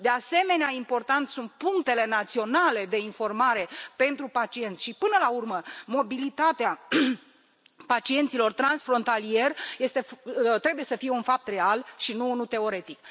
De asemenea, importante sunt punctele naționale de informare pentru pacienți și, până la urmă, mobilitatea pacienților transfrontalieri trebuie să fie un fapt real și nu unul teoretic.